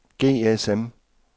GSM